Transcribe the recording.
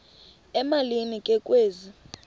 emalini ke kwezi